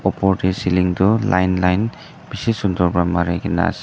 Opor dae ceiling tuh line line beshi sundur pra marekena ase.